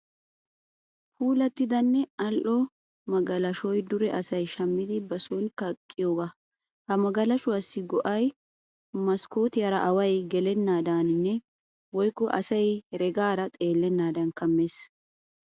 Puulattidanne al'o magalashoy dure asay shammidi ba son kaqqiyogaa. Ha magalashuwaassi ha'oa go'ay maskkootiyaara away gelennaadan woyikko asay heregaara xeellennaadan kammes.